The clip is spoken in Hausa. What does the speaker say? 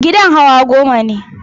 Gidan hawa goma ne.